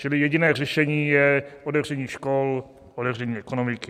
Čili jediné řešení je otevření škol, otevření ekonomiky.